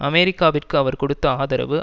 அமெரிக்காவிற்கு அவர் கொடுத்த ஆதரவு